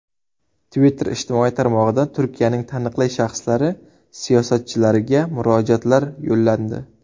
Twitter ijtimoiy tarmog‘ida Turkiyaning taniqli shaxslari, siyosatchilariga murojaatlar yo‘llandi.